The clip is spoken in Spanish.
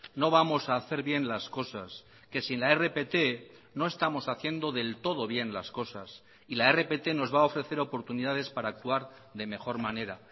no vamos a hacer bien las cosas que sin la rpt no estamos haciendo del todo bien las cosas y la rpt nos va a ofrecer oportunidades para actuar de mejor manera